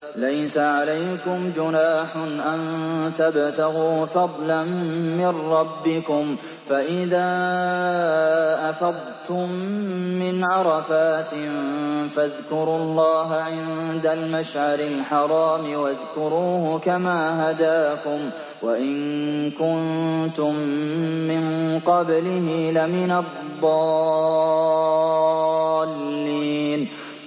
لَيْسَ عَلَيْكُمْ جُنَاحٌ أَن تَبْتَغُوا فَضْلًا مِّن رَّبِّكُمْ ۚ فَإِذَا أَفَضْتُم مِّنْ عَرَفَاتٍ فَاذْكُرُوا اللَّهَ عِندَ الْمَشْعَرِ الْحَرَامِ ۖ وَاذْكُرُوهُ كَمَا هَدَاكُمْ وَإِن كُنتُم مِّن قَبْلِهِ لَمِنَ الضَّالِّينَ